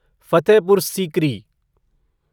Fatehpur Sikri